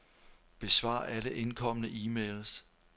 Besvar alle indkomne e-mails.